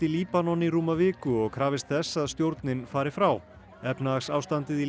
Líbanon í rúma viku og krafist þess að stjórnin fari frá efnahagsástandið í